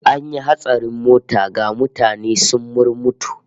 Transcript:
An yi hatsarin mota, ga mutane sun murmutu